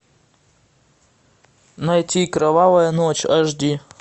найти кровавая ночь аш ди